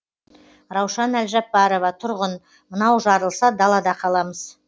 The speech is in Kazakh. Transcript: раушан әлжаппарова тұрғын мынау жарылса далада қаламыз